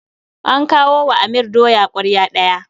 An kawo wa Amir doya ƙwarya biyu.